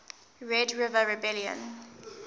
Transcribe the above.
red river rebellion